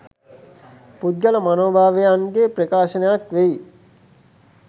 පුද්ගල මනෝභාවයන්ගේ ප්‍රකාශනයක් වෙයි.